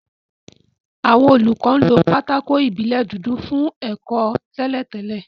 Àwọn olùkọ́ lo pátákó ìbílẹ̀ dúdú fún ẹ̀kọ́ tẹ́lẹ̀ tẹ́lẹ̀